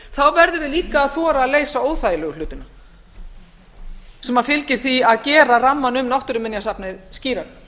verðum við líka að þora að leysa óþægilegu hlutina sem fylgir því að gera rammann um náttúruminjasafnið skýrara